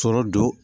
Sɔrɔ don